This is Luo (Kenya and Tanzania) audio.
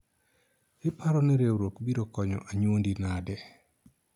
iparo ni riwruok biro konyo anyuondi nade ?